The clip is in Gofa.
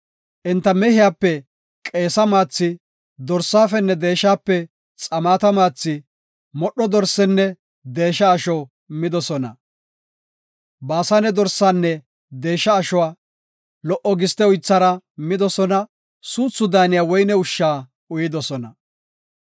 Enta mehiyape qeesa maathi, dorsafenne deeshape xamaata maathi, modho dorsenne deesha asho midosona. Baasane dorsaanne deesha ashuwa, lo77o giste uythara midosona; suuthi daaniya woyne ushsha uyidosona.